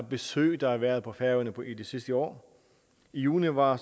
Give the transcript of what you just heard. besøg der har været på færøerne det sidste år i juni var